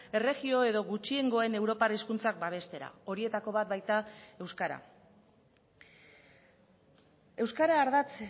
erregio edo gutxiengoen europar hizkuntzak babestera horietako bat baita euskara euskara ardatz